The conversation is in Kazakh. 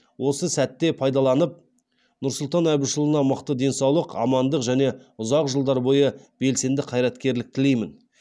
осы сәтте пайдаланып нұрсұлтан әбішұлына мықты денсаулық амандық және ұзақ жылдар бойы белсенді қайраткерлік тілеймін